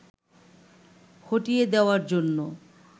হঠিয়ে দেওয়ার জন্য